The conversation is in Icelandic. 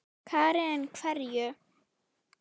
Karen: Hverju?